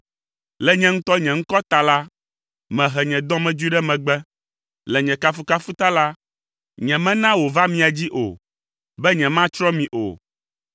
Le nye ŋutɔ nye ŋkɔ ta la, mehe nye dɔmedzoe ɖe megbe. Le nye kafukafu ta la, nyemena wòva mia dzi o, be nyematsrɔ̃ mi o.